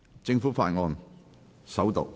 政府法案：首讀。